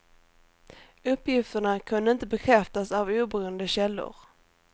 Uppgifterna kunde inte bekräftas av oberoende källor.